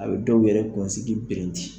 A bɛ dɔw yɛrɛ kunsigi birinti